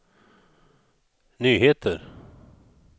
nyheter